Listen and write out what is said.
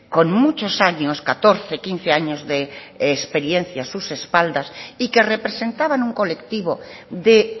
con muchos años catorce quince años de experiencia a sus espaldas y que representaban un colectivo de